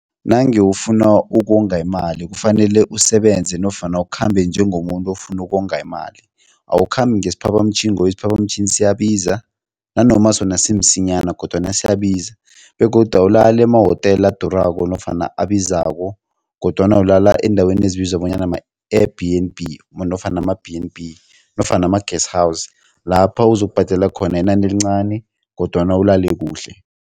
Nange ufuna ukonga imali kufanele usebenze nofana ukhambe njengomuntu ofuna ukonga imali. Awukhambi ngesiphaphamtjhini ngoba isiphaphamtjhini siyabiza nanoma sona simsinyana kodwana siyabiza begodu awulali emahotela adurako nofana abizako kodwana ulala eendaweni ezibizwa bonyana ma-Air B_n_B nofana ama-B_n_B nofana ama-guest house, lapha uzokubhadela khona inani elincani kodwana ulale kuhle.